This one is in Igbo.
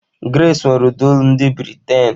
Grace nwere ụda olu ndị Bị́rị́taị̀n.